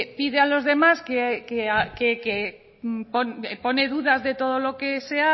pide a los demás que que pone dudas de todo lo que se